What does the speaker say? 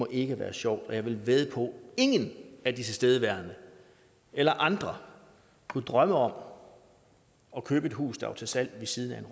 ikke er sjovt og jeg vil vædde på at ingen af de tilstedeværende eller andre kunne drømme om at købe et hus der er til salg ved siden af en